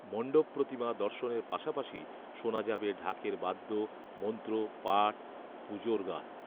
মণ্ডপপ্রতিমা দর্শনের পাশাপাশি শোনা যাবে ঢাকের বাদ্য, মন্ত্র, পাঠ, পুজোর গান